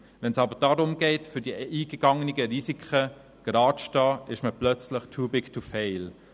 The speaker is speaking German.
Wenn es aber darum geht, für die eingegangenen Risiken geradezustehen, ist man plötzlich «too big to fail».